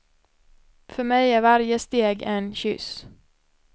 För mig är varje steg en kyss.